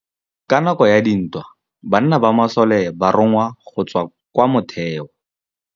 Ka nakô ya dintwa banna ba masole ba rongwa go tswa kwa mothêô.